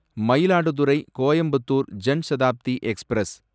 Mayiladuthurai Coimbatore Jan Shatabdi express